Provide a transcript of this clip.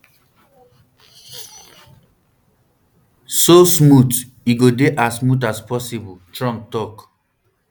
so smooth e go dey as smooth as possible trump tok